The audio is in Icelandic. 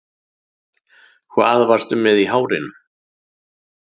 Hvað varstu með í hárinu